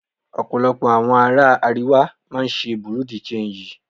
Ọ̀pọ̀lọpọ̀ àwọn ará Àríwá máa ń ṣe Bùrú dì ṣanjì.